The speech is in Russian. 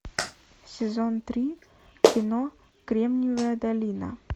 сезон три кино кремниевая долина